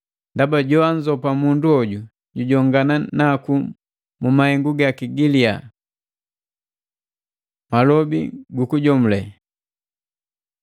Ndaba joanzopa mundu hoju, jujongana naku mu mahengu gaki gilia. Malobi gu kujomule